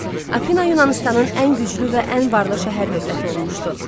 Afina Yunanıstanın ən güclü və ən varlı şəhər dövləti olmuşdu.